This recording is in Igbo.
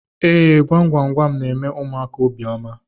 Ee, gwam gwam gwam na-eme ụmụaka obiọma